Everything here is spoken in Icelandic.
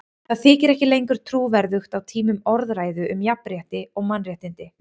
Það þykir ekki lengur trúverðugt á tímum orðræðu um jafnrétti og mannréttindi.